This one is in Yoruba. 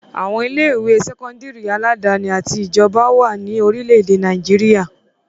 Àwọn ilé-ìwé sẹ́kọ́ndárì aládàáni àti ti ìjọba wà ní orílẹ̀-èdè Nàìjíríà.